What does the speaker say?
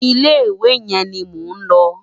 Ilé iwé yén ni mó n lò